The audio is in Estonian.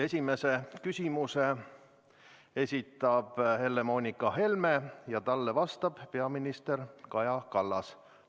Esimese küsimuse esitab Helle-Moonika Helme ja talle vastab peaminister Kaja Kallas.